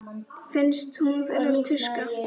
Finnst hún vera tuska.